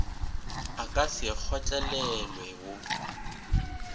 a ka se kgotlelelwe wo